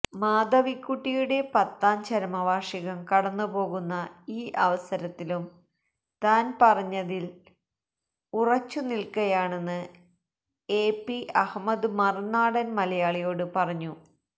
മാധവിക്കുട്ടിയുടെ പത്താം ചരമവാർഷികം കടന്നുപോകുന്ന ഈ അവസരത്തിലും താൻ പറഞ്ഞതിൽ ഉറച്ചു നിൽക്കയാണെന്ന് എപി അഹമ്മദ് മറുനാടൻ മലയാളിയോട് പറഞ്ഞു